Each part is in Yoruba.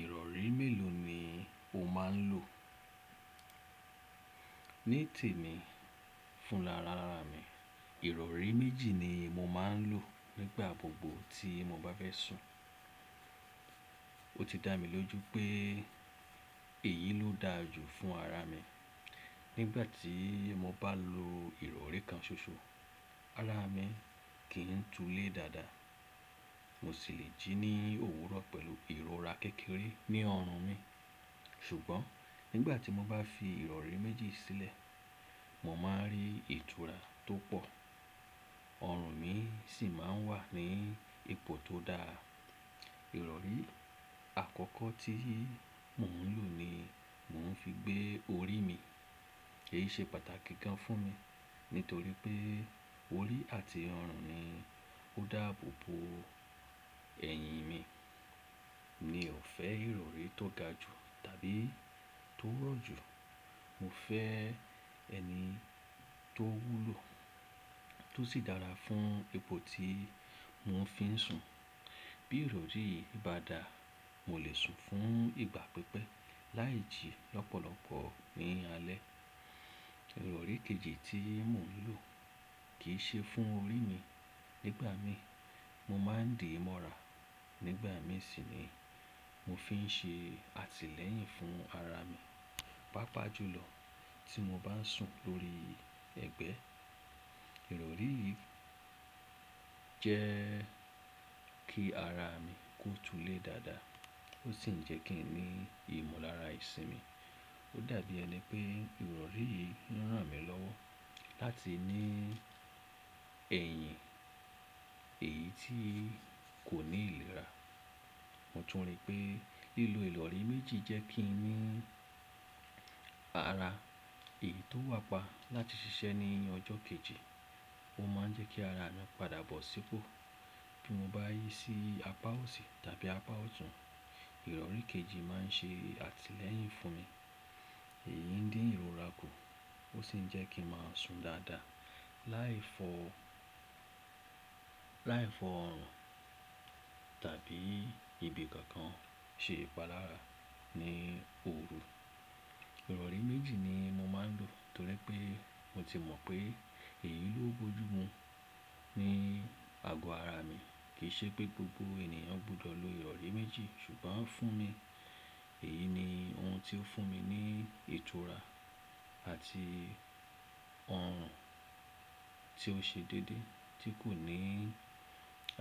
Ìrọ̀rí mélòó ni o máa ń lò? Ní tèmi fúnrarara mi, ìrọ̀rí méjì ni mo máa ń lò nígbà gbogbo tí mo bá fẹ́ sùn. O ti dá mi lójú pé èyí ló dára jù fún ara mi. Nígbà tí mo bá lo ìrọ̀rí kan ṣoṣo, ara mi kì ń tulé dáadáa. Mo sì le jí ní òwúrọ̀ pẹ̀lú ìrora kékeré ní ọrùn mi. Ṣùgbọ́n nígbà tí mo bá fi ìrọ̀rí méjì sílẹ̀, mo máa ń rí ìtura tó pọ̀. Ọrùn mi sì máa ń wà ní ipò tó dáa. Ìrọ̀rí àkọ́kọ́ tí mò ń lò ni mò ń fi gbé orí mi. Èyí ṣe pàtàkì gan fún mi nítorí pé orí àti ọrùn ni ó dáàbò bo ẹ̀yìn mi. Mi ò fẹ́ ìrọ̀rí tó ga jù tàbí tó rọ̀ jù. Mo fẹ́ ẹni tó wúlò tó sì dára fún ipò tí mò ń fi sùn. Bí ìrọ̀rí yìí bá dà, mo lè sùn fún ìgbà pípẹ́ láì jí lọ́pọ̀lọpọ̀ ní alẹ́. Ìrọ̀rí kejì tí mò ń lò kì í ṣe fún orí mi. Nígbà mi, mo máa ń di mọ̀rà. Nígbà mi sì ni mo fi ń ṣe àtìlẹ́yìn fún ara mi. Pápá jùlọ tí mo bá ń sùn lórí ẹ̀gbẹ́. Ìrọ̀rí yìí jẹ́ kí ara mi kó tulé dáadáa ó sì ń jẹ́ kí n ní ìmọ̀lára ìsinmi. Ó dàbí ẹni pé ìrọ̀rí yìí ń ràn mí lọ́wọ́ láti ní ẹ̀yìn èyí tí kò ní ìlera. Mo tún rí pé lílo ìrọ̀rí méjì jẹ́ kí n ní ara èyí tó wà pa láti ṣiṣẹ́ ní ọjọ́ kejì. Ó máa ń jẹ́ kí ara mi padà bọ̀ sípò bí mo bá yí sí apá òsì tàbí apá ọ̀tún. Ìrọ̀rí kejì máa ń ṣe àtìlẹ́yìn fún mi. Èyí ń dín ìrora kù ó sì ń jẹ́ kí a máa sùn dáadáa láì fọ̀ ọrùn tàbí ibi kokan ṣe ìpalára ní òru. Ìrọ̀rí méjì ni mo máa ń lò nítorí pé mo ti mọ̀ pé èyí ló bójú mu ní àgọ́ ara mi. Kì í ṣe pé gbogbo ènìyàn gbọdọ̀ lo ìrọ̀rí méjì ṣùgbọ́n fún mi, èyí ni ohun tí ó fún mi ní ìtura àti ọrùn tí ó ṣe déédéé tí kò ní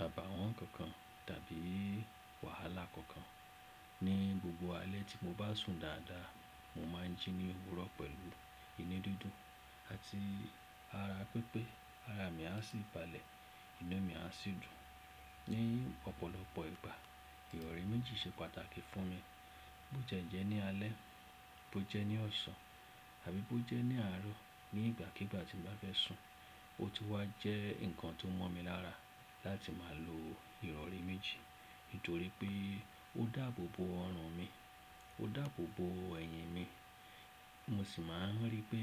àbàwọ́n kokan tàbí wàhálà kokan. Ni gbogbo alẹ́ tí mo bá sùn dáadáa, mo máa ń jí ní òwúrọ̀ pẹ̀lú inú dídùn àti ara pípẹ́. Ara mi a sì balẹ̀, inu mi a sì dùn. Ni ọ̀pọ̀lọpọ̀ ìgbà ìrọ̀rí méjì ṣe pàtàkì fún mi. Bo jẹ́ ní alẹ́, bo jẹ́ ní ọ̀sán tàbí bo jẹ́ ní àárọ̀. Ni ìgbàkígbà tí mo bá fẹ́ sùn, o ti wá jẹ́ nǹkan tó mọ́ mi lára láti máa lo ìrọ̀rí méjì nítorí pé ó dàbò bo ọrùn mi, ó dàbò bo ẹ̀yìn mi. Mo sì máa ń rí pé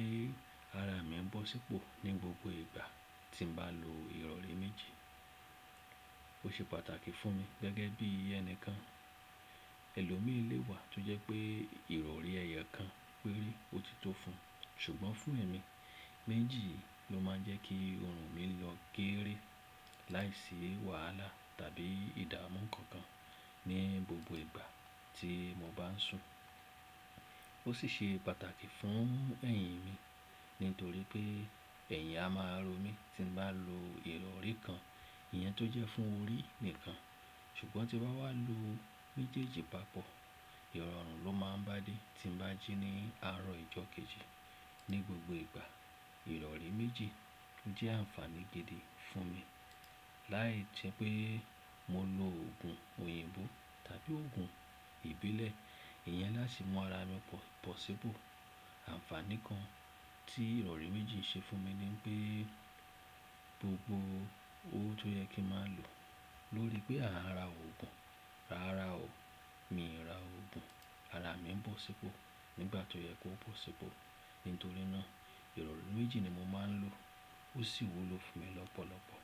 ara mi ń bọ̀ sípò ní gbogbo ìgbà tí mo bá lo ìrọ̀rí méjì. O ṣe pàtàkì fún mi gẹ́gẹ́ bí ẹni kan. Ẹ̀lọ́mi léwà tó jẹ́ pé ìrọ̀rí ẹyokan péré ó ti tó fún. Ṣùgbọ́n fún èmi, méjì ló máa ń jẹ́ kí ọrùn mi lọ geere láìsí wàhálà tàbí ìdámu kankan ní gbogbo ìgbà tí mo bá ń sùn. O sì ṣe pàtàkì fún ẹ̀yìn mi nítorí pé ẹ̀yìn a máa ro mí tí mo bá lo ìrọ̀rí kan, ìyẹn tó jẹ́ fún orí nìkan. Ṣùgbọ́n tí bá wá lo méjèèjì papọ̀, ìrọ̀rùn ló máa ń bá dé tí mo bá jí ní àárọ̀ ọjọ́ kejì. Ni gbogbo ìgbà ìrọ̀rí méjì ló jẹ́ àǹfàní gidi fún mi. Láì jẹ́ pé mo lo òògùn òyìnbó tàbí òògùn ìbílẹ̀, ìyẹn láti mú ara mi bọ̀ sípò. Àǹfàní kan tí ìrọ̀rí méjì ṣe fún mi ni pé gbogbo ówo tó yẹ kí a máa lò lórí pé a á ra òògùn, rárá o, mi ò ra òògùn. Ara mi ń bọ̀ sípò nígbà tó yẹ kó bọ̀ sípò. Nítorí náà ìrọ̀rí méjì ni mo máa ń lò ó sì wúlò fún mi lọ́pọ̀lọpọ̀.